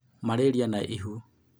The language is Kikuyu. malaria na ihu